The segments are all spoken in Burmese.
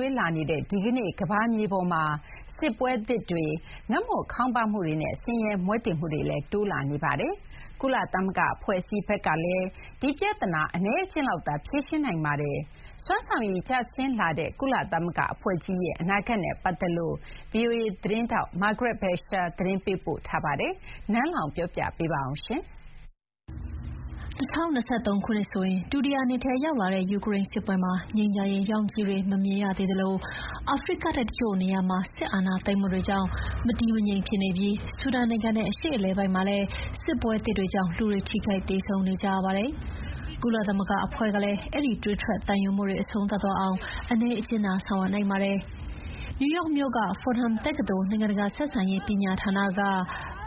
ွေးလာနေ တဲ့ဒီကနေ့ ကမ္ဘာမြေကြီးပေါ်မှာ စစ်ပွဲသစ်တွေ၊ ငတ်မွတ်ခေါင်းပါးမှုတွေနဲ့ ဆင်ရဲမွဲတေမှုတွေလည်း တိုးလာနေပါတယ်။ ကုလသမဂ္ဂအဖွဲ့အစည်းဘက်ကလည်း ဒီပြဿနာ အနည်းအကျဥ်းလောက်သာဖြေရှင်းနိုင်ပါတယ်။ စွမ်းဆောင်ရည်ကျဆင်းလာတဲ့ ကုသမဂ္ဂအဖွဲ့ကြီးရဲ့ အနာဂတ်နဲ့ပတ်သက်လို့ VOA သတင်းထောက် Margaret Besheer ကသတင်းပေးပို့ထားပါတယ်။ နန်းလောင်ဝ်က တင်ပြပေးထားပါတယ်။ ၂၀၂၃ ခုနှစ်ဆိုရင် ဒုတိယနှစ်ထဲရောက်လာတဲ့ယူကရိန်းစစ်ပွဲမှာ ငြိမ်းချမ်းရေးရောင်ခြည်တွေ မမြင်ရသေးသလို အာဖရိကတိုက်တချို့နေရာမှာ စစ်အာဏာသိမ်းမှုတွေကြောင့် မတည်မငြိမ်ဖြစ်နေပြီး ဆူဒန်နိုင်ငံနဲ့ အရှေ့အလယ်ပိုင်းမှာလည်း စစ်ပွဲသစ်တွေကြောင့် လူတွေ ထိခိုက်သေဆုံးနေကြရပါတယ်။ ကုလသမဂ္ဂအဖွဲ့ကလည်း အဲဒီ သွေးထွက်သံယိုမှုတွေ အဆုံးသတ်သွားအောင် အနည်းအကျဥ်းသာဆောင်ရွက်နိုင်ပါတယ်။ နယူးယောက်မြို့က Fordham တက္ကသိုလ်၊ နိုင်ငံတကာဆက်ဆံရေးပညာဌာနက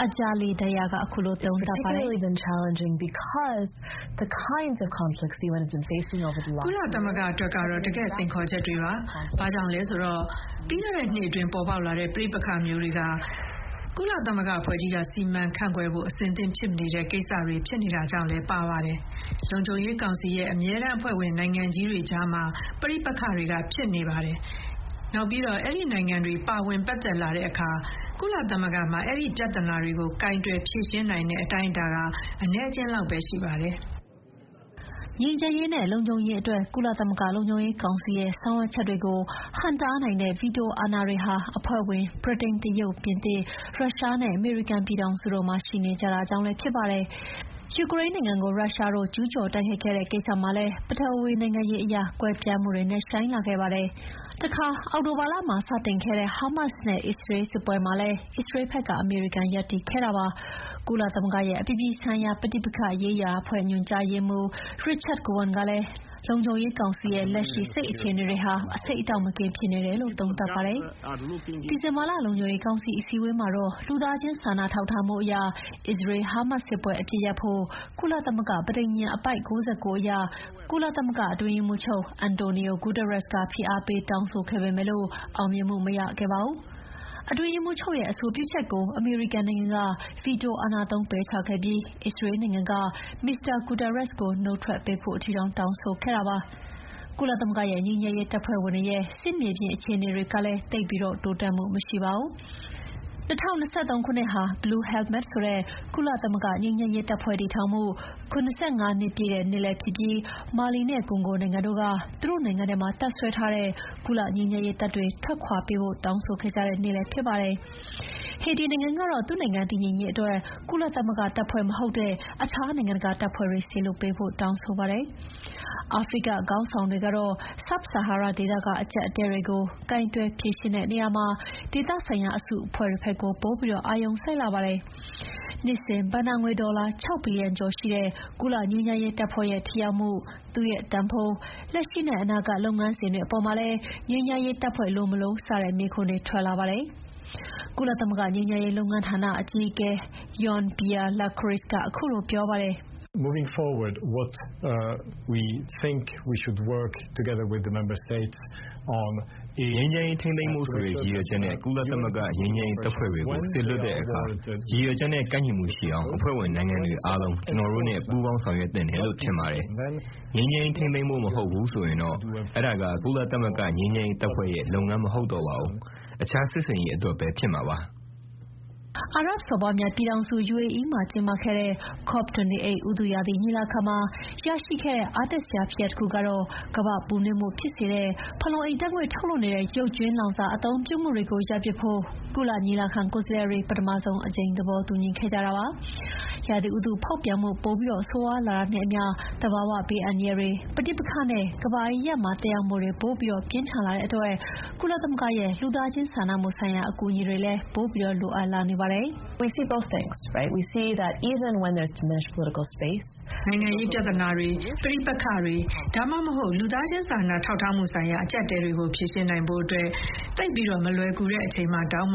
Anjali Dayal ကခုလိုသုံးသပ်ပါတယ်။ “ကုလသမဂ္ဂအတွက်တော့ တကယ့် စိန်ခေါ်ချက်တွေဖြစ်ပါတယ်။ ဘာကြောင့်လဲဆိုတော့ ပြီးခဲ့တဲ့နှစ်အတွင်း ပေါ်ပေါက်လာတဲ့ ပဋိပက္ခမျိုးတွေဟာ ကုလသမဂ္ဂအဖွဲ့ကြီးက စီမံခန့်ခွဲဖို့ အဆင်သင့်ဖြစ်မနေတဲ့ ကိစ္စရပ်တွေဖြစ်နေတာကြောင့်လည်းပါပါတယ်။ လုံခြုံရေးကောင်စီရဲ့ အမြဲတမ်းအဖွဲ့ဝင်နိုင်ငံကြီးတွေကြားမှာ ပဋိပက္ခတွေဖြစ်နေပါတယ်။ နောက်ပြီးတော့ အဲဒီနိုင်ငံတွေ ပါဝင်ပတ်သက်လာတဲ့အခါ ကုလသမဂ္ဂမှာ အဲဒီပြဿနာတွေကို ကိုင်တွယ်ဖြေရှင်းနိုင်တဲ့အတိုင်းအတာ အနည်းအကျဥ်းလောက်သာ ရှိပါတယ်။” ငြိမ်းချမ်းရေးနဲ့ လုံခြုံရေးအတွက် ကုလသမဂ္ဂလုံခြုံရေးကောင်စီရဲ့ ဆောင်ရွက်ချက်တွေကို ဟန့်တားနိုင်တဲ့ ဗီတိုအာဏာတွေဟာ အဖွဲ့ဝင် ဗြိတိန်၊ တရုတ်၊ ပြင်သစ်၊ ရုရှားနဲ့ အမေရိကန်ပြည်ထောင်စုတို့မှာရှိနေကြတာကြောင့်လည်း ဖြစ်ပါတယ်။ ပြီးခဲ့တဲ့နှစ်ထဲမှာပဲ ယူကရိန်းနိုင်ငံကို ရုရုားတို့ ကျူးကျော်တိုက်ခိုက်တဲ့ကိစ္စမှာ ပထဝီနိုင်ငံရေးအရ ကွဲပြားမှုတွေ နက်ရှိုင်းလာခဲ့ပါတယ်။ တခါ အောက်တိုဘာလမှာစတင်ခဲ့တဲ့ ဟာမတ်စ်နဲ့ အစ္စရေးလ်စစ်ပွဲမှာလည်း အစ္စရေးဘက်က အမေရိကန်ရပ်တည်ခဲ့ပါတယ်။ ကုသမဂ္ဂရဲ့ အပြည်ပြည်ဆိုင်ရာ ပဋိပက္ခရေးရာအဖွဲ့ ညွှန်ကြားရေးမှူး Richard Gowan ကလည်း လုံခြုံရေးကောင်စီရဲ့ လက်ရှိ စိတ်အခြေအေနတွေ အဆိပ်အတောက်မကင်း (poisonous) ဖြစ်နေတယ်လို့ သုံးသပ်ပါတယ်။ ဒီဇင်ဘာလ လုံခြုံရေးကောင်စီအစည်းအဝေးမှာတော့ လူသားချင်းစာနာထောက်ထားမှုအရ အစ္စရေး-ဟာမတ်စ်စစ်ပွဲအပစ်ရပ်ဖို့ ကုလသမဂ္ဂပဋိညာဉ် အပိုဒ် ၉၉ အရ ကုလအတွင်းရေးမှူးချုပ် Antonio Guterres က ဖိအားပေးတောင်းဆိုခဲ့ပေမယ့် အောင်မြင်မှုမရခဲ့ပါဘူး။ အတွင်းရေးမှူးချုပ်ရဲ့အဆိုပြုချက်ကို အမေရိကန်နိုင်ငံက ဗီတိုအာဏာသုံးပယ်ချခဲ့ပြီး အစ္စရေးနိုင်ငံကလည်း မစ္စတာ ဂူတာရက်စ်ကို နုတ်ထွက်ပေးဖို့အထိ တောင်းဆိုခဲ့တာပါ။ ကုလသမဂ္ဂရဲ့ ငြိမ်းချမ်းရေးတပ်ဖွဲ့ဝင်တွေရဲ့ စစ်မြေပြင်မှာအခြေအနေတွေလည်း သိပ်ပြီးတိုးတက်မှုမရှိပါဘူး။ ၂၀၂၃ ခုနှစ်ဟာ blue helmets ဆိုတဲ့ ကုလငြိမ်းချမ်းရေးတပ်ဖွဲ့ တည်ထောင်မှု ၇၅ နှစ်ပြည့်လည်းဖြစ်ပြီး မာလီနဲ့ကွန်ဂိုနိုင်ငံတို့က သူတို့နိုင်ငံထဲမှာတပ်စွဲထားတဲ့ ကုလငြိမ်းချမ်းရေးတပ်တွေ ထွက်ခွါပေးဖို့ တောင်းဆိုခဲ့ကြတဲ့နှစ်လည်းဖြစ်ပါတယ်။ ဟေတီနိုင်ငံကတော့ သူ့နိုင်ငံတည်ငြိမ်ရေးအတွက် ကုလသမဂ္ဂတပ်ဖွဲ့ မဟုတ်တဲ့ အခြားနိုင်ငံတကာတပ်ဖွဲ့တွေ စေလွှတ်ပေးဖို့ တောင်းဆိုပါတယ်။ အာဖရိကခေါင်းဆောင်တွေကတော့ ဆာဟာရတောင်ပိုင်းဒေသက အကျပ်အတည်းတွေကို ကိုင်တွယ်ဖြေရှင်းဖို့ ဒေသဆိုင်ရာအစုအဖွဲ့တွေဘက်ကို ပိုပြီးအာရုံစိုက်လာပါတယ်။ နှစ်စဉ်ဘဏ္ဍာငွေဒေါ်လာ ၆ ဘီလီယံကျော်ရှိတဲ့ ကုလငြိမ်းချမ်းရေးတပ်ဖွဲ့ရဲ့ ထိရောက်မှု၊ သူ့ရဲ့တန်ဖိုး၊ လက်ရှိနဲ့ အနာဂတ်လုပ်ငန်းစဥ်တွေအေပါ်မှာလည်း ငြိမ်းချမ်းရေးတပ်ဖွဲ့ လိုမလို..စတဲ့ မေးခွန်းတွေလည်း ထွက်လာပါတယ်။ ကုလသမဂ္ဂငြိမ်းချမ်းရေးလုပ်ငန်းဌာနအကြီးအကဲ Jean Pierre Lacroix ကခုလိုပြောပါတယ်။ “ငြိမ်းချမ်းရေးထိန်းသိမ်းဖို့ဆိုတဲ့ ရည်ရွယ်ချက်နဲ့ ကုလဂ္ဂငြိမ်းချမ်းရေးတပ်ဖွဲ့တွေကို စေလွှတ်တဲ့အခါ ရည်ရွယ်ချက်နဲ့ ကိုက်ညီမှုရှိအောင် အဖွဲ့ဝင်နိုင်ငံတွေ အားလုံး ကျနော်တို့နဲ့ ပူးပေါင်းဆောင်ရွက်သင့်တယ်လို့ ထင်ပါတယ်။ ငြိမ်းချမ်းရေးထိန်းသိမ်းဖို့မဟုတ်ဘူးဆိုရင်တော့ အဲဒါက ကုလသမဂ္ဂငြိမ်းချမ်းရေးတပ်ဖွဲ့ရဲ့ လုပ်ငန်းမဟုတ်တော့ပါဘူး။ အခြားစစ်ဆင်ရေးအတွက်ပဲ ဖြစ်မှာပါ။” အာရပ်စော်ဘွားများပြည်ထောင်စု၊ UAE မှာကျင်းပခဲ့တဲ့ COP28 ဥတုရာသီညီလာခံမှာ ရခဲ့တဲ့အားတက်စရာဖြစ်ရပ်တခုက ကမ္ဘာ့ပူနွေးမှုဖြစ်စေတဲ့ ဖန်လုံအိမ်ဓာတ်ငွေ့တွေထုတ်နေတဲ့ ရုပ်ကြွင်းလောင်စာအသုံးပြုမှုတွေကို ရပ်ပစ်ဖို့ ညီလာခံကိုယ်စားလှယ်တွေ ပထမဆုံးအကြိမ် သဘောတူညီခဲ့ကြတာပါ။ ရာသီဥတုဖောက်ပြန်မှု ပိုဆိုးရွားလာတာနဲ့အမျှ သဘာဝဘေးအန္တရာယ်တွေ၊ ပဋိပက္ခတွေနဲ့ ကမ္ဘာအရပ်ရပ်မှာ သက်ရောက်မှုတွေ ပိုပြီးပြင်းထန်လာတဲ့အတွက် ကုလသမဂ္ဂရဲ့ လူသားချင်းစာနာမှုဆိုင်ရာအကူအညီတွေလည်း ပိုပြီး လိုအပ်လာနေတာပါ။ “နိုင်ငံရေးပြဿနာတွေ၊ ပဋိပက္ခတွေ ဒါမှမဟုတ် လူသားချင်းစာနာထောက်ထားမှုဆိုင်ရာ အကျပ်အတည်းတွေကို ဖြေရှင်းနိုင်ဖို့ သိပ်မလွယ်ကူတဲ့အချိန်မှာတောင်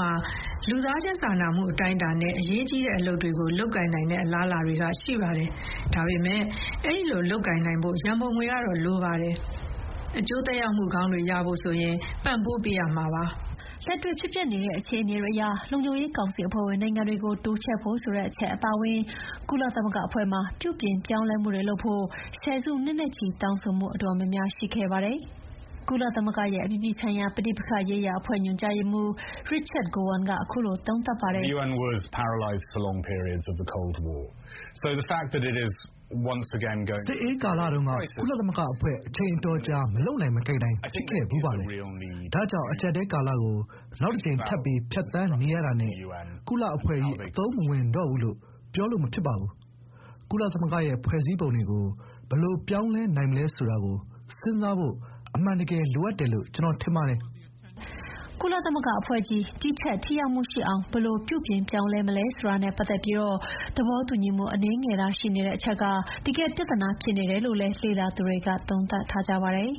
လူသားချင်း စာနာထောက်ထားမှု အတိုင်းအတာနဲ့ အရေးကြီးတဲ့အလုပ်တွေ လုပ်ကိုင်နိုင်တဲ့အလားအလာတွေ ရှိပါတယ်။ ဒါပေမယ့် အဲဒီလိုလုပ်ကိုင်နိုင်ဖို့ ရန်ပုံငွေတွေတော့ လိုပါတယ်။ အကျိုးသက်ရောက်မှုကောင်းတွေရဖို့ ပံ့ပိုးပေးရမှာပါ။” လက်တွေ့ဖြစ်ပျက်နေတဲ့အခြေအနေတွေအရ လုံခြုံရေးကောင်စီအဖွဲ့ဝင်နိုင်ငံတွေကို တိုးချဲ့ဖို့ဆိုတဲ့အချက်အပါအဝင် ကုလသမဂ္ဂအဖွဲ့မှာ ပြုပြင်ပြောင်းလဲမှုတွေလုပ်ဖို့ ဆယ်စုနှစ်နဲ့ချီတောင်းဆိုမှုအတော်များများရှိခဲ့ပါတယ်။ “စစ်အေးကာလတုန်းက ကုလသမဂ္ဂအဖွဲ့ က အချိန်အတော်ကြာ မလုပ်နိုင်မကိုင်နိုင် ဖြစ်ခဲ့ဖူးပါတယ်။ ဒါကြောင့် အကျပ်အတည်းကာလကို နောက်တကြိမ် ထပ်ပြီး ဖြတ်သန်းနေရတာနဲ့ ကုလအဖွဲ့ကြီး အသုံးမဝင်တော့ဘူးလို့ ပြောလို့မဖြစ်ပါဘူး။ ကုလသမဂ္ဂရဲ့ဖွဲ့စည်းပုံတွေကို ဘယ်လိုပြောင်းလဲနိုင်မလဲဆိုတာကို စဉ်းစားဖို့ အမှန်တကယ် လိုအပ်တယ်လို့ ကျနော် ထင်ပါတယ်။” ကုလသမဂ္ဂအဖွဲ့ကြီး ဒီထက်ထိရောက်မှုရှိအောင် ဘယ်လိုပြုပြင်ပြောင်းလဲမလဲဆိုတာနဲ့ ပတ်သက်ပြီးသဘောတူညီမှု အနည်းငယ်သာရှိနေတဲ့အချက်က တကယ့်ပြဿနာဖြစ်တယ်လို့လည်း လေ့လာသူတွေက သုံးသပ်ကြပါတယ်